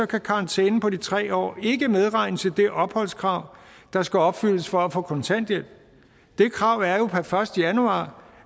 kan karantænen på de tre år ikke medregnes i det opholdskrav der skal opfyldes for at få kontanthjælp det krav er jo per første januar